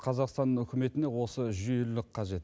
қазақстан үкіметіне осы жүйелілік қажет